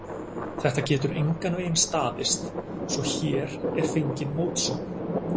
Þetta getur engan veginn staðist, svo hér er fengin mótsögn.